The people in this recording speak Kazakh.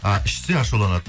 ы ішсе ашуланады